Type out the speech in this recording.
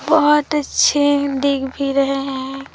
बहोत अच्छे दिख भी रहे हैं।